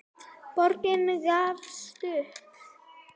Borgin gafst upp.